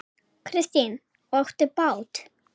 Kristín: Og áttu bát?